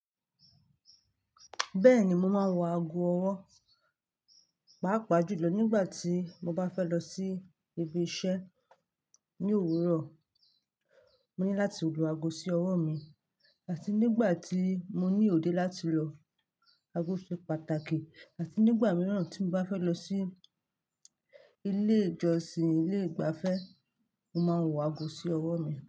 Bẹ́ẹ̀ni, mo máa ń wọ aago ọwọ́, pàápàá jùlọ nígbà tí mo bá fẹ́ lọ sí ibi iṣẹ́ ní òwúrọ̀. Mo ní láti lo aago sí ọwọ́ mi, àti nígbà tí mo ní òde láti lọ. Aago ṣe pàtàkì, àti nígbà mìíràn tí mo bá fẹ́ lọ sí ilé ìjọsìn ilé ìgbafẹ́, mo máa ń wọ aago sí ọwọ́ mi.